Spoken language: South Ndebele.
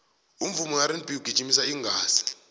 umvumo werb ungijimisa igazi